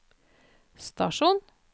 stasjon